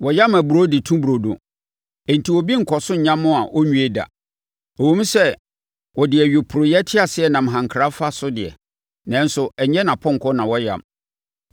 Wɔyam aburoo de to burodo enti obi nnkɔ so nyam a ɔnwie da. Ɛwom sɛ ɔde nʼayuporeɛ teaseɛnam hankra fa so deɛ, nanso ɛnyɛ nʼapɔnkɔ na wɔyam.